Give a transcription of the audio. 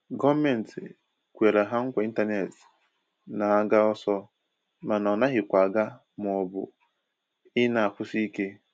gọọmenti kwere ha nkwa intanetị n'aga ọsọ mana ọ naghịkwa aga maọbụ i na-akwụsị ike